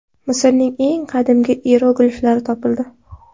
Misrning eng qadimgi iyerogliflari topildi.